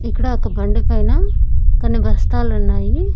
ఇక్కడ ఒక బండి పైన కొన్ని బస్తాలున్నాయి.